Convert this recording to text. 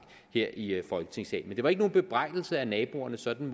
i folketingssalen men det var ikke nogen bebrejdelse af naboerne sådan